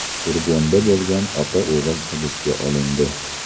Furgonda bo‘lgan ota-o‘g‘il hibsga olindi.